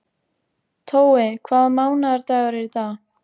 Tói, hvaða mánaðardagur er í dag?